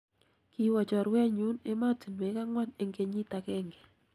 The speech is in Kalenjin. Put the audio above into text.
kiwo chorwenyu emotinwek ang'wan eng kenyit agenge